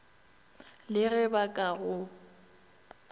le ge ba ka go